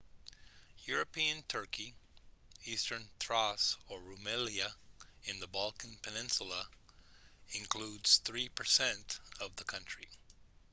european turkey eastern thrace or rumelia in the balkan peninsula includes 3% of the country